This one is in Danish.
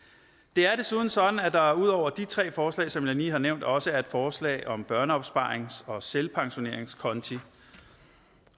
det er desuden sådan at der ud over de tre forslag som jeg lige har nævnt også er et forslag om børneopsparings og selvpensioneringskonti